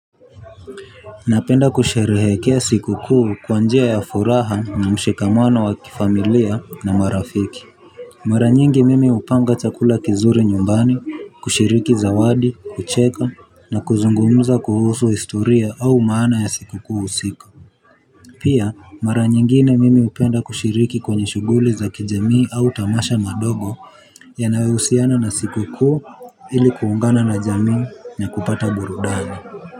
Napenda kusherehekea sikukuu kwa njia ya furaha na mshikamano wa kifamilia na marafiki. Mara nyingi mimi hupanga chakula kizuri nyumbani kushiriki zawadi kucheka na kuzungumuza kuhusu historia au maana ya sikukuu husika. Pia mara nyingine mimi upenda kushiriki kwenye shughuli za kijamii au tamasha madogo. Yanayohusiana na sikukuu ili kuungana na jamii na kupata burudani.